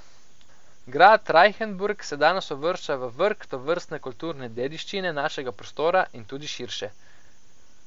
Grad Rajhenburg se danes uvršča v vrh tovrstne kulturne dediščine našega prostora in tudi širše.